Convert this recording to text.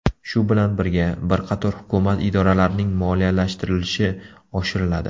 Shu bilan birga, bir qator hukumat idoralarining moliyalashtirilishi oshiriladi.